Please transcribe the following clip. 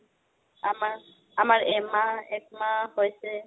আমাৰ, আমাৰ এহমাহ একমাহ হৈছে